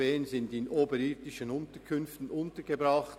Bern sind in oberirdischen Unterkünften untergebracht.